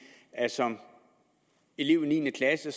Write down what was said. at som elev i niende klasse